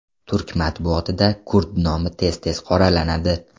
Turk matbuotida kurd nomi tez tez qoralanadi.